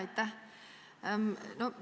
Aitäh!